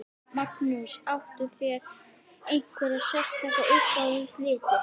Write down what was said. Magnús: Áttu þér einhverja sérstaka uppáhalds liti?